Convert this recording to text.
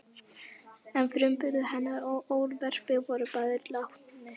En frumburður hennar og örverpi voru báðir látnir.